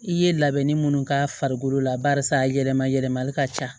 I ye labɛnni minnu k'a farikolo la barisa yɛlɛma yɛlɛmali ka ca